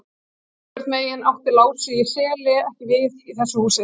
Einhvern veginn átti Lási í Seli ekki við í þessu húsi.